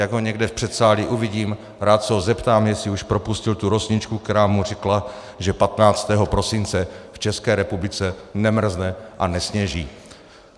Jak ho někde v předsálí uvidím, rád se ho zeptám, jestli už propustil tu rosničku, která mu řekla, že 15. prosince v České republice nemrzne a nesněží.